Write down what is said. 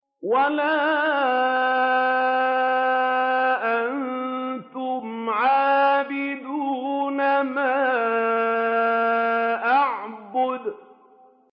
وَلَا أَنتُمْ عَابِدُونَ مَا أَعْبُدُ